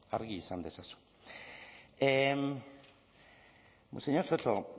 argi izan dezazun señor soto